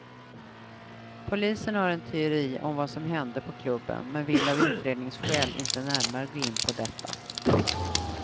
Polisen har en teori om vad som hände på klubben, men vill av utredningsskäl inte närmare gå in på detta.